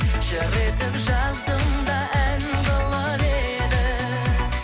жыр етіп жаздым да ән қылып едім